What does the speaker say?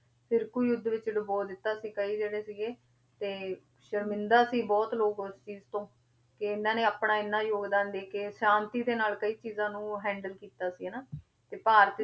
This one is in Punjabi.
ਫ਼ਿਰਕੂ ਯੁੱਧ ਵਿੱਚ ਡੁਬੋ ਦਿੱਤਾ ਸੀ ਕਈ ਜਿਹੜੇ ਸੀਗੇ, ਤੇ ਸਰਮਿੰਦਾ ਸੀ ਬਹੁਤ ਲੋਕ ਉਸ ਚੀਜ਼ ਤੋਂ ਕਿ ਇਹਨਾਂ ਨੇ ਆਪਣਾ ਇੰਨਾ ਯੋਗਦਾਨ ਦੇ ਕੇ ਸ਼ਾਂਤੀ ਦੇ ਨਾਲ ਕਈ ਚੀਜ਼ਾਂ ਨੂੰ handle ਕੀਤਾ ਸੀ ਹਨਾ ਤੇ ਭਾਰਤੀ